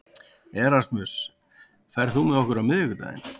Erasmus, ferð þú með okkur á miðvikudaginn?